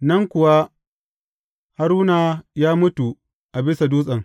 Nan kuwa Haruna ya mutu a bisa dutsen.